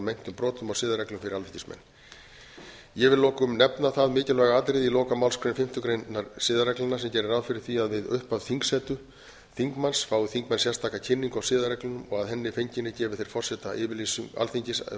meintum brotum siðareglum fyrir alþingismenn ég vil að lokum nefna það mikilvæga atriði í lokamálsgrein fimmtu greinar siðareglnanna sem gera ráð beri því að við upphaf þingsetu þingmanns fái þingmenn sérstaka kynningu á siðareglunum og að henni fenginni gefi þeir forseta alþingis yfirlýsingu þar sem